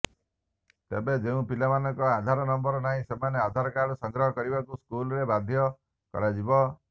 ତେବେ ଯେଉଁ ପିଲାଙ୍କର ଆଧାର ନମ୍ବର ନାହିଁ ସେମାନେ ଆଧାର କାର୍ଡ ସଂଗ୍ରହ କରିବାକୁ ସ୍କୁଲରେ ବାଧ୍ୟ କରାଯିବ